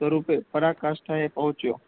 સ્વરૂપે પરકાશ સ્થળે પહોંચ્યો. `